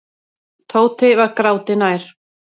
Tóti var gráti nær.